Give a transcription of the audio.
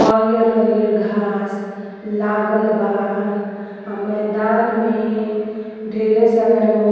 हरिहर-हरिहर घास लागल बा आ मैदान में ढेरे सारा लोग --